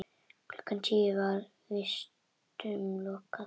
Klukkan tíu var vistum lokað.